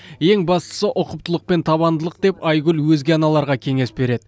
ең бастысы ұқыптылық пен табандылық деп айгүл өзге аналарға кеңес береді